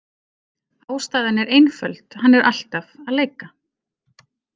Ástæðan er einföld: Hann er alltaf að leika.